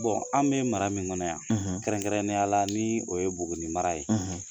anw be mara min kɔnɔ yan , kɛrɛnkɛrɛnnen yala ni o ye buguni mara ye